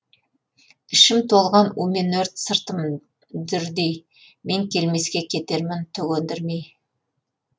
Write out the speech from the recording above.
ішім толған у мен өрт сыртым дүрдей мен келмеске кетермін түк өндірмей